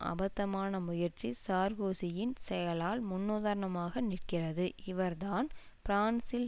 அபத்தமான முயற்சி சார்கோசியின் செயலால் முன்னுதாரணமாக நிற்கிறது இவர்தான் பிரான்சில்